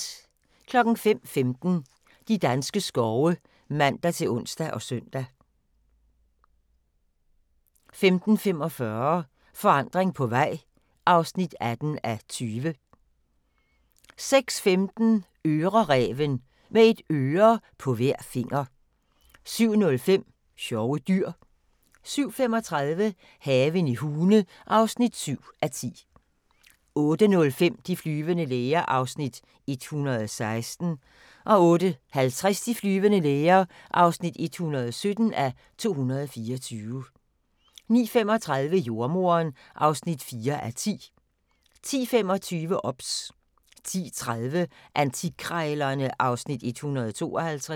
05:15: De danske skove (man-ons og søn) 05:45: Forandring på vej (18:20) 06:15: Øreræven – med et øre på hver finger 07:05: Sjove dyr 07:35: Haven i Hune (7:10) 08:05: De flyvende læger (116:224) 08:50: De flyvende læger (117:224) 09:35: Jordemoderen (4:10) 10:25: OBS 10:30: Antikkrejlerne (Afs. 152)